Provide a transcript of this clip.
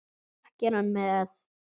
Ekki er hann með?